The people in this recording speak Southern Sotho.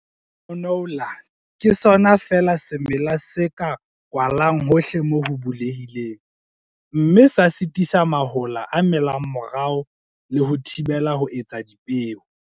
Canola ke sona feela semela se ka kwalwang hohle moo ho bulehileng, mme sa sitisa mahola a melang morao le ho a thibela ho etsa dipeo.